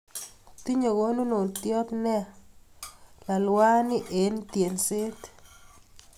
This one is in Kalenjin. Tinye konunot neo nea lalwani eng' tyenset.